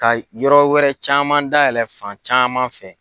Ka yɔrɔ wɛrɛ caman daɛlɛ fan caman fɛ.